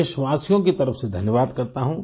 देशवासियों की तरफ से धन्यवाद करता हूँ